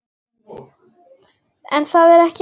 En það er ekki allt.